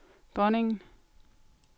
dronningen